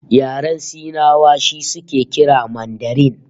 Yaren Sinawa shi suke kira Mandarin